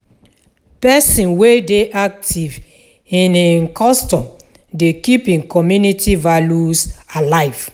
Pesin wey dey aktiv in im custom dey keep im community values alive.